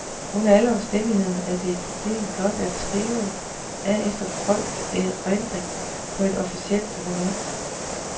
Under alle omstændigheder er det et problem blot at skrive af efter folks erindring på et officielt dokument.